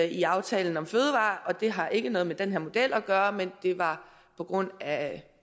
i aftalen om fødevarer og det har ikke noget med den her model at gøre men det var på grund af